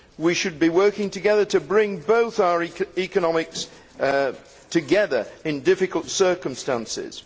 We should be working together to bring both our economics together in difficult circumstances.